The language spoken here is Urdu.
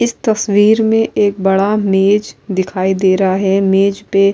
اس تشویر مے ایک بڑا مج دکھائی دے رہا ہے۔ مج پی --